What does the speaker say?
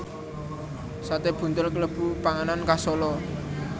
Sate buntel kalebu panganan khas Solo